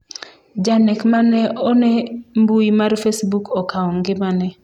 janek mane one mbui mar Facebook okawo ngimane